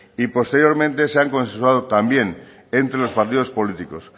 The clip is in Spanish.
y posteriormente se han consensuado también entre los partidos políticos